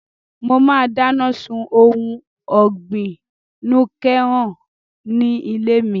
Mo máa dáná sun ohun ọ̀gbìn núké-nọ́h ní ilé mi